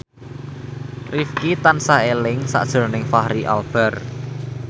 Rifqi tansah eling sakjroning Fachri Albar